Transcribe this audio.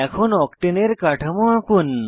এখন octane octane এর কাঠামো আঁকুন